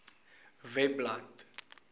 webblad